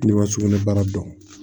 Ne ka sugunɛbara dɔn